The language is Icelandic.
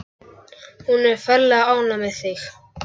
Hún er ferlega ánægð með þig.